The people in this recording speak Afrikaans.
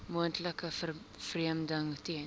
moontlike vervreemding ten